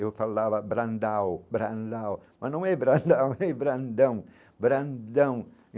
Eu falava brandáô, mas não é brandáô, é brandão brandão.